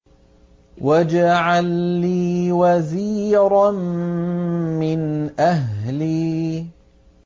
وَاجْعَل لِّي وَزِيرًا مِّنْ أَهْلِي